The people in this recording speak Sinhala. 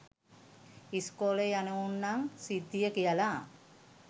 ඉස්කෝලේ යනවුන් නම් සිද්දිය කියලා